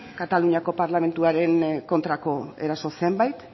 kataluniako parlamentuaren kontrako eraso zenbait